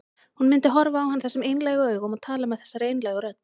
Hún myndi horfa á hann þessum einlægu augum og tala með þessari einlægu rödd.